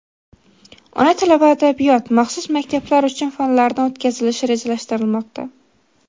Ona tili va adabiyot (maxsus maktablar uchun) fanlaridan o‘tkazilishi rejalashtirilmoqda.